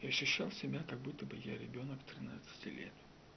защищал себя как будто бы я ребёнок тринадцати лет